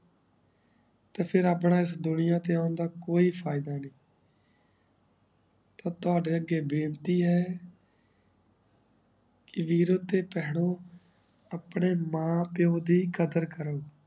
ਤੇ ਆਪਣਾ ਇਸ ਦੁਨਿਆ ਤੇ ਓਨ ਦਾ ਕੋਈ ਫਾਇਦਾ ਨਾਈ ਤਾਪਾ ਦੇ ਕੇ ਬਯ੍ਪ੍ਤੀ ਹੈ ਵੀਰੋ ਤੇ ਪੈਨੋ ਅਪਨੇ ਮਾਂ ਪੀਏਓ ਦੀ ਕਾਦਰ ਕਰੋ